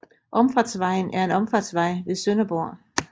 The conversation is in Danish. Omfartsvejen er en omfartsvej ved Sønderborg